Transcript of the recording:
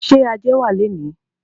Ṣé ajé wá léèní?